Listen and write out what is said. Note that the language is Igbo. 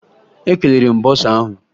Ekelere m bọsa ahụ